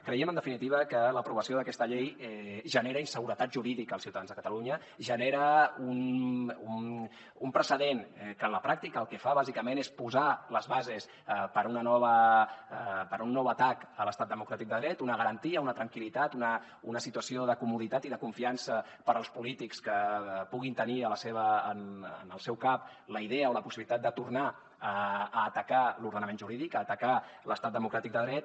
creiem en definitiva que l’aprovació d’aquesta llei genera inseguretat jurídica als ciutadans de catalunya genera un precedent que en la pràctica el que fa bàsicament és posar les bases per a un nou atac a l’estat democràtic de dret una garantia una tranquil·litat una situació de comoditat i de confiança per als polítics que puguin tenir en el seu cap la idea o la possibilitat de tornar a atacar l’ordenament jurídic a atacar l’estat democràtic de dret